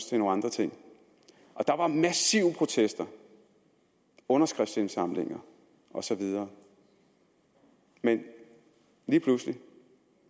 til nogle andre ting der var massive protester underskriftsindsamlinger osv men lige pludselig